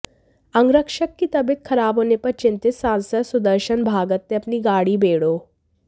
अंगरक्षक की तबीयत खराब होने पर चिंतित सांसद सुदर्शन भगत ने अपनी गाड़ी बेड़ो